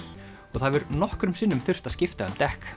og það hefur nokkrum sinnum þurft að skipta um dekk